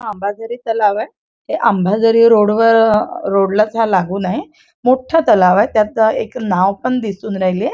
आंबाझरी तलावय हे आंबाझरी रोड वर अ रोड लाच हा लागूनय मोठ्ठा तलावय त्यात एक नाव पण दिसून राहिलीये.